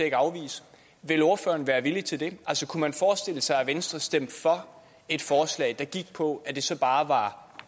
ikke afvise vil ordføreren være villig til det altså kunne man forestille sig at venstre stemte for et forslag der gik på at det så bare var